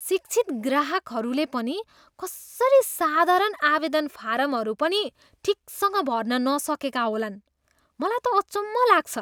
शिक्षित ग्राहकहरूले पनि कसरी साधराण आवेदन फारमहरू पनि ठिकसँग भर्न नसकेका होलान्? मलाई त अचम्म लाग्छ।